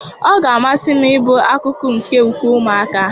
Ọ ga-amasị m ịbụ akụkụ nke ukwe ụmụaka